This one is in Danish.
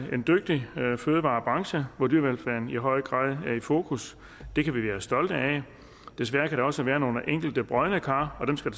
en dygtig fødevarebranche hvor dyrevelfærden i høj grad er i fokus det kan vi være stolte af desværre kan der også være nogle enkelte brodne kar og dem skal